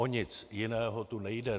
O nic jiného tu nejde.